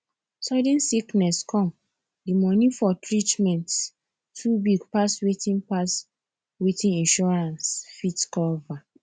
sudden sickness come the money for treatment too big pass wetin pass wetin insurance fit cover